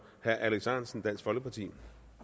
herre alex ahrendtsen dansk folkeparti